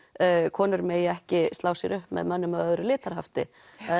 konur megi ekki slá sér upp með mönnum að öðru